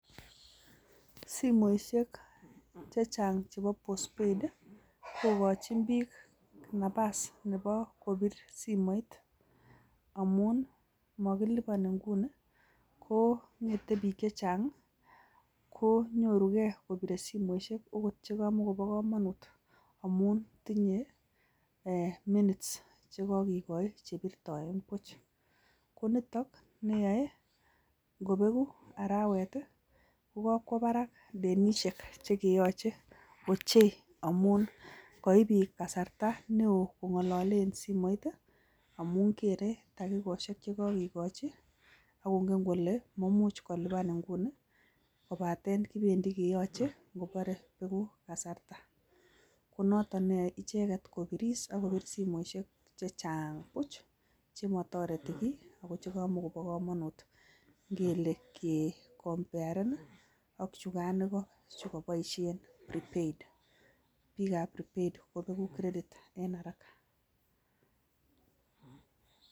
Simoisiek chechang chebo postpaid kokochin biik Napa's nebo kosich chito simoit amun mokiliponi inguni KO bik chechang, komuch kobiir simoit amun tindo minutes chekokikochi che kibirtoen buch. Ko nitet ngobeeku aarawet i,kokakwo barak Denise che keyoche ochei ngamun koib biik kasartaa neo kongalale en simoit amun kere dakikosiek chekakikochi, kongen kole maimuch kolipan inguni kobaten kibendi keyoche kobore bekuu kasarta konoton neyoe icheget kobir simoisiek chechang buch, chemotoretii kiiy ako chemoboo komonut. Ingionien ak chukan ikoo chukoboishien prepaid biikab prepaid kobegu credit en haraka